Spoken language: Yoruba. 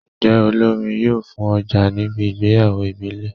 Njé olórin yóò fùn ojà níbi ìgbéyàwó ìbílẹ̀?